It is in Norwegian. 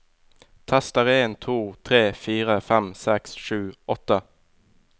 Tester en to tre fire fem seks sju åtte